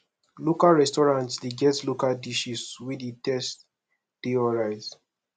local restaurant de get local dishes wey di taste de alright